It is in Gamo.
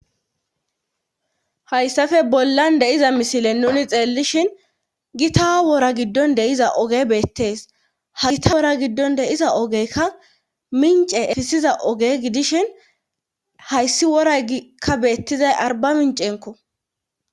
Hayssafe bollan de iza misile nuni xeellishin gita wora giddon de iza oge beettees ha gita wora giddon deiza ogeyka mince efisiza oge gidishin hayssi worakka beettizay arba mincenko